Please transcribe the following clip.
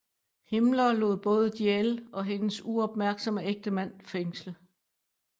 Himmler lod både Diehl og hendes uopmærksomme ægtemand fængsle